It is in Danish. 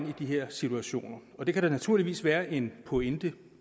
i de her situationer og det kan der naturligvis være en pointe